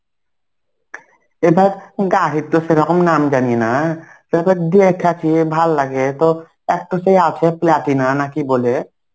এবার গাড়ির তো সেরকম নাম জানি না দেইখা চেয়ে ভাল লাগে. তো এক তো সে আছে প্লাটিনা না কি বলে?